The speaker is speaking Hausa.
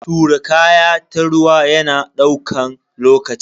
Tura kaya ta ruwa yana daukan lokaci.